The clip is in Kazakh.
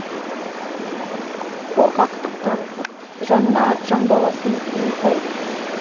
қорқақтық танытып жанына жан баласын жуытпайды